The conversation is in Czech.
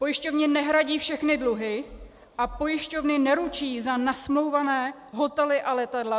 Pojišťovny nehradí všechny dluhy a pojišťovny neručí za nasmlouvané hotely a letadla.